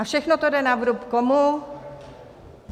A všechno to jde na vrub komu?